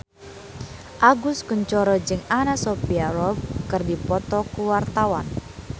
Agus Kuncoro jeung Anna Sophia Robb keur dipoto ku wartawan